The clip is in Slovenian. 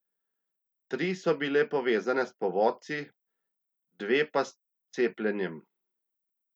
Tri so bile povezane s povodci, dve pa s cepljenjem.